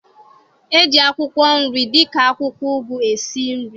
E ji akwụkwọ nri dịka akwụkwọ ụgụ esi nri